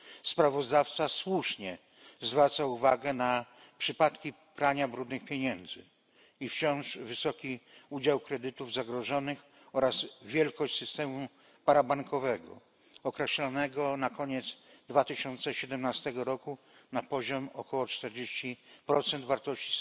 Sprawozdawca słusznie zwraca uwagę na przypadki prania brudnych pieniędzy i wciąż wysoki udział kredytów zagrożonych oraz wielkość systemu parabankowego określanego na koniec 2017 roku na poziomie około 40 wartości